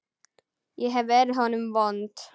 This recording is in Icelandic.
Ég hef verið honum vond.